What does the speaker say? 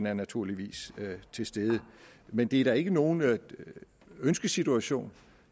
er naturligvis til stede men det er da ikke nogen ønskesituation